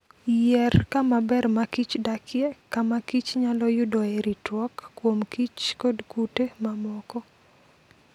Yier kama ber ma kich dakie, kama kich nyalo yudoe ritruok kuom kich kod kute mamoko.